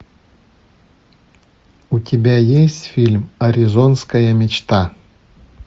у тебя есть фильм аризонская мечта